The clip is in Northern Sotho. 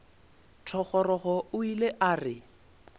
thogorogo o ile a re